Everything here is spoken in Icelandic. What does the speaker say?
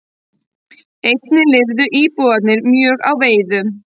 Einnig lifðu íbúarnir mjög á veiðum.